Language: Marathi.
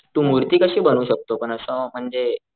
तू मूर्ती कशी बनवू शकतो पण असं म्हणजे,